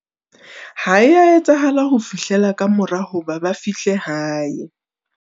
Ha e a etsahala ho fihlela ka mora hoba ba fihle hae.